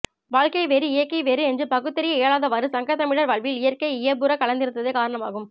வாழ்க்கை வேறு இயற்கை வேறு என்று பகுத்தறிய இயலாதவாறு சங்கத்தமிழர் வாழ்வில் இயற்கை இயைபுறக் கலந்திருந்ததே காரணமாகும்